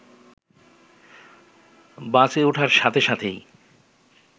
বাসে ওঠার সাথে সাথেই